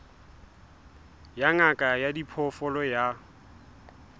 ya ngaka ya diphoofolo ya